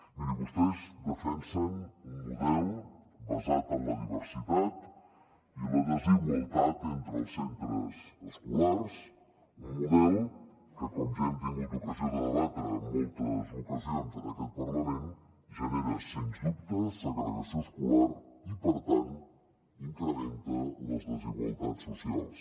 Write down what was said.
mirin vostès defensen un model basat en la diversitat i la desigualtat entre els centres escolars un model que com ja hem tingut ocasió de debatre en moltes ocasions en aquest parlament genera sens dubte segregació escolar i per tant incrementa les desigualtats socials